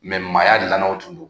maaya dilannaw tun don